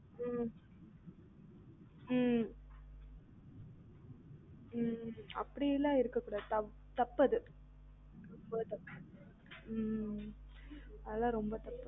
ம் ம் இல்ல அப்படிலாம் இருக்க கூடாது தப்பு அது ம் அதுலாம் ரொம்ப தப்பு